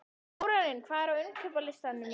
Þórarinn, hvað er á innkaupalistanum mínum?